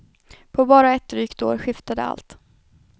På bara ett drygt år skiftade allt.